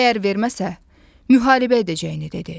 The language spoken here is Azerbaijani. Əgər verməsə, müharibə edəcəyini dedi.